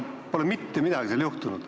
Minu teada pole seal mitte midagi toimunud.